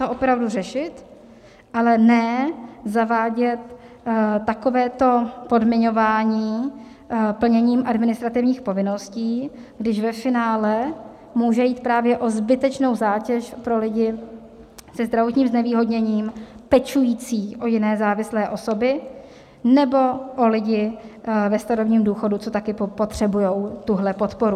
To opravdu řešit, a ne zavádět takovéto podmiňování plněním administrativních povinností, kdy ve finále může jít právě o zbytečnou zátěž pro lidi se zdravotním znevýhodněním pečující o jiné závislé osoby nebo o lidi ve starobním důchodu, co taky potřebují tuhle podporu.